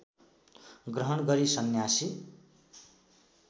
ग्रहण गरी सन्यासी